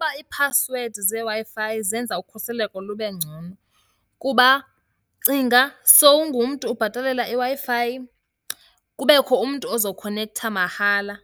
Uba iiphasiwedi zeeWi-Fi zenza ukhuseleko lube ngcono. Kuba cinga sowungumntu ubhatalela iWi-Fi, kubekho umntu ozokhonektha mahala